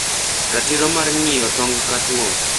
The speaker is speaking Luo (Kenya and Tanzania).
ratiro mar ngiyo tong cutworm.